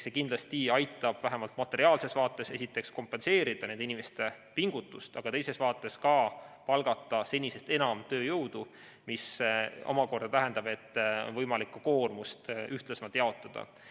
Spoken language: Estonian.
See aitab vähemalt materiaalses vaates esiteks kindlasti kompenseerida nende inimeste pingutust, aga teises vaates palgata senisest enam tööjõudu, mis omakorda tähendab, et võimalikku koormust saab ühtlasemalt jaotada.